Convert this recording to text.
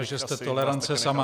... a že jste tolerance sama.